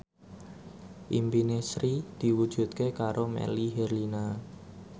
impine Sri diwujudke karo Melly Herlina